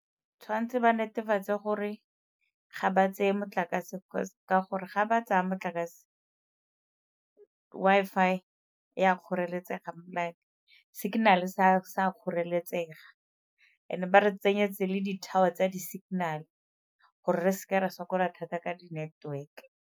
Tshwanetse ba netefatse gore ga ba tseye motlakase ka gore ga ba tsaya motlakase Wi-Fi e a kgoreletsega like signal-e se a kgoreletsega, and-e ba re tsenyetse le di-tower tsa di-signal gore re seke re sokola thata ka di-network-e.